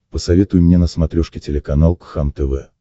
посоветуй мне на смотрешке телеканал кхлм тв